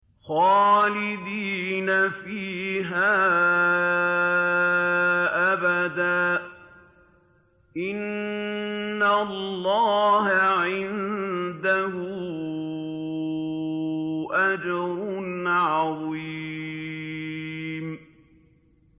خَالِدِينَ فِيهَا أَبَدًا ۚ إِنَّ اللَّهَ عِندَهُ أَجْرٌ عَظِيمٌ